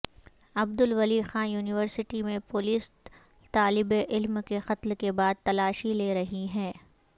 Abdul Wali Khan university میں police طالبعلم کے قتل کے بعد تلاشی لے رہی ہے